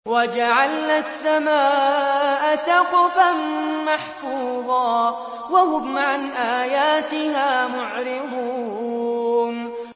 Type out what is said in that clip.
وَجَعَلْنَا السَّمَاءَ سَقْفًا مَّحْفُوظًا ۖ وَهُمْ عَنْ آيَاتِهَا مُعْرِضُونَ